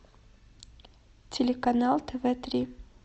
телеканал тв три